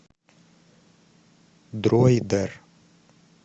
дроидер